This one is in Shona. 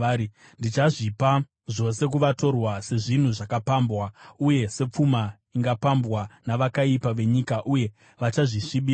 Ndichazvipa zvose kuvatorwa sezvinhu zvakapambwa uye sepfuma ingapambwa navakaipa venyika, uye vachazvisvibisa.